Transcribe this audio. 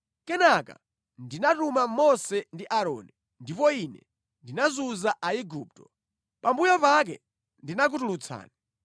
“ ‘Kenaka ndinatuma Mose ndi Aaroni, ndipo ine ndinazunza Aigupto. Pambuyo pake ndinakutulutsani.